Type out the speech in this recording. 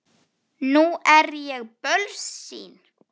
Nú er ég bölsýn.